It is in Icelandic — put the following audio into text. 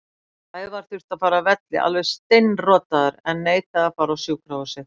Sævar þurfti að fara af velli alveg steinrotaður en neitaði að fara á sjúkrahúsið.